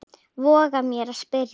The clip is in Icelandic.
voga ég mér að spyrja.